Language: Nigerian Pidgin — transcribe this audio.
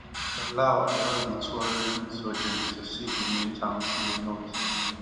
di disorder allow di tuareg insurgents to seize di main towns in di north